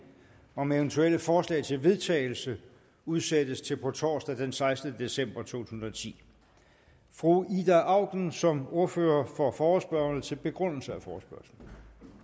om eventuelle forslag til vedtagelse udsættes til på torsdag den sekstende december to tusind og ti fru ida auken som ordfører for forespørgerne til begrundelse af forespørgslen